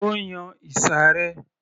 Ó yan ìsàré